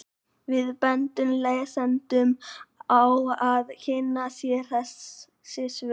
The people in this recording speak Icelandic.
Við bendum lesendum á að kynna sér þessi svör.